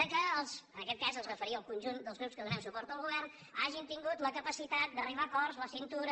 en aquest cas es referia al conjunt dels grups que donem suport al govern hagin tingut la capacitat d’arribar a acords la cintura